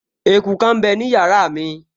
Eku kan m bẹ ní yàrá mi